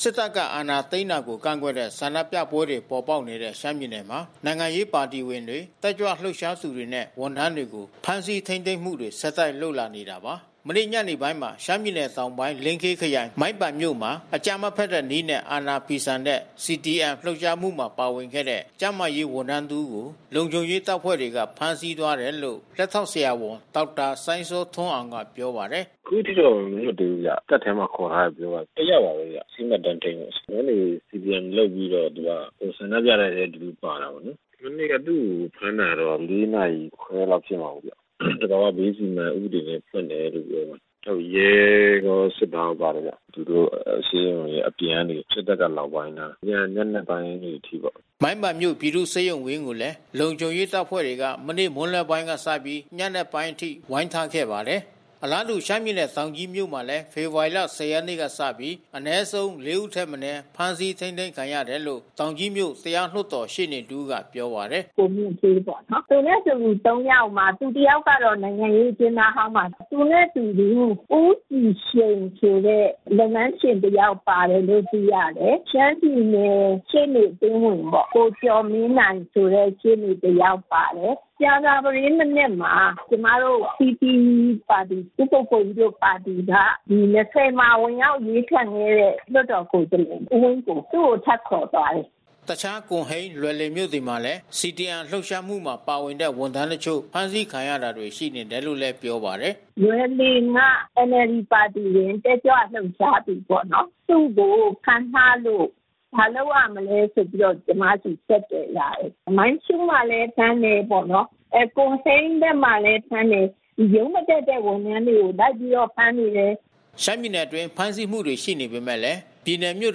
စစ်တပ်က အာဏာသိမ်းတာကို ကန့်ကွက်တဲ့ ဆန္ဒပြပွဲတွေ ပေါ်ပေါက်နေတဲ့ ရှမ်းပြည်နယ်မှာ နိုင်ငံရေးပါတီဝင်တွေ၊ တက်ကြွလှုပ်ရှားသူတွေနဲ့ ဝန်ထမ်းတွေကို ဖမ်းဆီးထိန်းသိမ်းမှုတွေ ဆက်တိုက်လုပ်လာနေတာပါ။ မနေ့ညနေပိုင်းမှာ ရှမ်းပြည်နယ်တောင်ပိုင်း၊ လင်းခေးခရိုင်၊ မိုင်းပန်မြို့မှာ အကြမ်းမဖက်တဲ့နည်းနဲ့ အာဏာဖီဆန်တဲ့ CDM လှုပ်ရှားမှုမှာ ပါဝင်ခဲ့တဲ့ ကျန်းမာရေးဝန်ထမ်းတဦးကို လုံခြုံရေးတပ်ဖွဲ့တွေက ဖမ်းဆီးသွားတယ်လို့ လက်ထောက် ဆရာဝန် ဒေါက်တာစိုင်းစောထွန်းအောင် ကပြောပါတယ်။ “အခုထိတော့ မလွတ်သေးဘူးဗျ။ တပ်ထဲမှာခေါ်ထားတယ်။ တယောက်ပါပဲ ဆေးမှတ်တမ်းထိန်းပါ။ ဝန်ထမ်းတွေ CDM လုပ်ပြီး တော့ ဆန္ဒပြတဲ့အထဲသူပါတာကိုး။ မနေ့က သူ့ကိုဖမ်းတာက ၄ နာရီခွဲလောက်ရှိမှာပေါ့။ သဘာဝဘေးအန္တရာယ်ဥပဒေနဲ့ ဖွင့်တယ်လို့ပြောတယ်။ ရဲရော၊ စစ်သားရောပါတယ်ဗျ။ သူတို့ဆေးရုံရဲ့အပြင် စစ်တပ်က လာဝိုင်းထားတယ်။ သူတို့က ညဉ့်နက်ပိုင်းတွေအထိပေါ့။” မိုင်းပန်မြို့ ပြည်သူ့ဆေးရုံကြီးဝင်းကိုလည်း လုံခြုံရေးတပ်ဖွဲ့တွေက မနေ့မွန်းလွဲပိုင်းကစပြီး ညနက်ပိုင်းအချိန်ထိ ဝိုင်းထားခဲ့ပါတယ်။ အလားတူ ရှမ်းပြည်နယ်တောင်ကြီးမြို့မှာလဲ ဖေဖော်ဝါရီ ၁၀ ရက်နေ့ကစပြီး အနည်ဆုံး ၄ ဦးထက်မနည်း ဖမ်းဆီး ထိန်းသိမ်းခံရတယ်လို့ တောင်ကြီးမြို့ တရားလွှတ်တော်ရှေ့နေတဦးကပြောပါတယ်။ “ကိုမြင့်ဌေးပေါ့နော်... သူနဲ့အတူတူ ၃ ယောက်မှာ သူတယောက်ကတော့ နိုင်ငံရေးအကျဉ်းသားဟောင်းပါ။ သူနဲ့အတူတူ ဦးကြည်ရှိန်ဆိုတဲ့ လုပ်ငန်းရှင်တယောက်ပါတယ်လို့ သိရတယ်။ ရှမ်းပြည်နယ်ရှေ့နေအသင်းဝင်ပေါ့... ကိုကျော်မင်းနိုင်ဆိုတဲ့ ရှေ့နေတယာက်ပါတယ်။ ကြာသပတေး မနက်မှာ ကျမတို့ PP ပါတီ ဦးကိုကိုကြီးတို့ ပါတီက ဒီ ၂၀ မှာဝင်ရောက် အရွေးခံခဲ့တဲ့ လွှတ်တော်ကိုယ်စားလှယ် သူ့ကို ထပ်ခေါ်သွားတယ်။” တခြား ကွန်ဟိန်း လွိုင်လင်မြို့နယ်တွေမှာလဲ CDM လှုပ်ရှားမှုမှာ ပါဝင်တဲ့ ဝန်ထမ်းတချို့ ဖမ်းဆီးခံရတာတွေ ရှိနေတယ်လို့လည်း ပြောပါတယ်။ “လိုွင်လင်က NLD ပါတီက တက်ကြွလှုပ်ရှားသူပေါ့နော်။ သူ့ကိုဖမ်းထားလို့ ဘာလုပ်ရမလဲဆိုပြီးတော့ ကျမကို ဆက်သွယ်လာတယ်။ မိုင်းရှုးမှာလည်း ဖမ်းတယ်ပေါ့နော်။ ကွန်ဟိန်းဘက်မှာလည်း ဖမ်းတယ်။ ဒီရုံးမတက်တဲ့ ဝန်ထမ်းတွေကို လိုက်ပြီးတော့ ဖမ်းနေတယ်။" ရှမ်းပြည်နယ်အတွင်း ဖမ်းဆီးမှုတွေ ရှိနေပေမဲ့လည်း ပြည်နယ်မြို့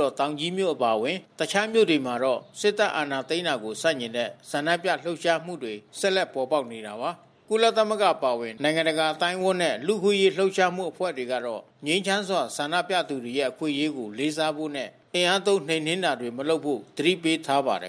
တော် တောင်ကြီးမြို့အပါဝင် တခြားမြို့တွေမှာ တော့ စစ်တပ်က အာဏာသိမ်းတာကို ဆန့်ကျင်တဲ့ ဆန္ဒပြလှုပ်ရှားမှုတွေ ဆက်လက် ပေါ်ပေါက်နေတာပါ။ ကုလသမဂ္ဂ အပါအဝင် နိုင်ငံတကာ အသိုင်းအဝန်းနဲ့ လူ့အခွင့်အရေး လှုပ်ရှားမှုအဖွဲ့တွေကတော့ ငြိမ်းချမ်းစွာ ဆန္ဒပြသူတွေရဲ့ အခွင့်အရေးကို လေးစားဖို့နဲ့ အင်အားသုံး နှိမ်နင်းတာတွေ မလုပ်ဖို့ သတိပေးထားပါတယ်